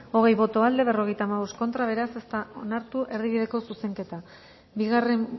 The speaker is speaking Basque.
berrogeita hamabost